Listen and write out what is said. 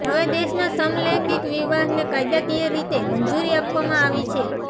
હવે દેશમાં સમલૈંગિક વિવાહને કાયદાકીય રીતે મંજૂરી આપવામાં આવી છે